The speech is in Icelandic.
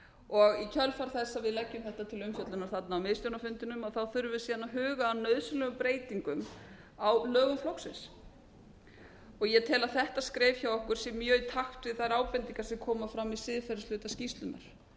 og í kjölfar þess að við leggjum þetta til umfjöllunar á miðstjórnarfundinum þurfum við síðan að huga að nauðsynlegum breytingum á lögum flokksins ég tel að þetta skref hjá okkur sé mjög í takt við þær ábendingar sem koma fram í siðferðishluta skýrslunnar